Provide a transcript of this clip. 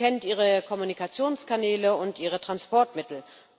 Sie kennt Ihre Kommunikationskanäle und Ihre Transportmittel.